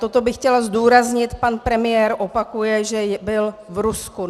Toto bych chtěla zdůraznit: Pan premiér opakuje, že byl v Rusku.